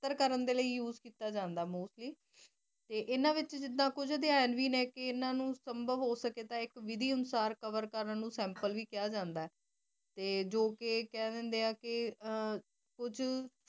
ਪਰ ਕਰਨ ਦੇ ਲਈ use ਕਿੱਤਾ ਜਾਂਦਾ ਹੈ mostly ਤੇ ਇਹਨਾ ਦੇ ਵਿੱਚ ਕੁਝ ਅਧਿਐਵੀ ਨੇ ਜਿਦਾ ਇਹਨਾ ਨੂੰ ਸੰਭਵ ਹੋ ਸਕੇ ਤਾਂ ਵਿੱਧੀ ਅਨੁਸਾਰ ਕਵਰ ਕਰਨ ਨੂੰ ਸੈਂਪਲ ਵੀ ਕਿਹਾ ਜਾਂਦਾ ਤੇ ਜੋ ਕਿ ਇਹ ਕਹਿ ਦਿੰਦੇ ਕੁਝ